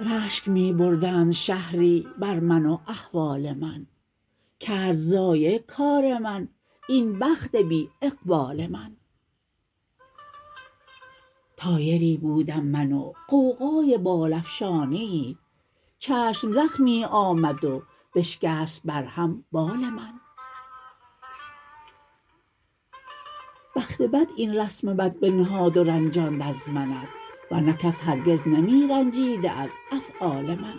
رشک می بردند شهری بر من و احوال من کرد ضایع کار من این بخت بی اقبال من طایری بودم من و غوغای بال افشانیی چشم زخمی آمد و بشکست بر هم بال من بخت بد این رسم بد بنهاد و رنجاند از منت ورنه کس هرگز نمی رنجیده از افعال من